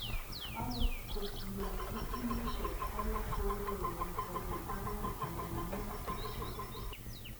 Akot kunotok, timisiek alak kokoureren konyil angwan anan mut kityo